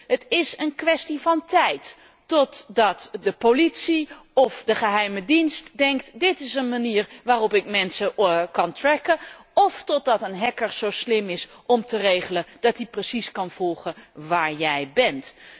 Het is een kwestie van tijd totdat de politie of de geheime dienst denkt dit is een manier waarop ik mensen kan tracken of totdat een hacker zo slim is om te regelen dat hij precies kan volgen waar jij bent.